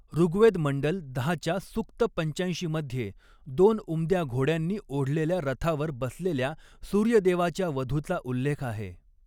ऋग्वेद मंडल दहा च्या सूक्त पंचाऐंशी मध्ये, दोन उमद्या घोड्यांनी ओढलेल्या रथावर बसलेल्या सूर्यदेवाच्या वधूचा उल्लेख आहे.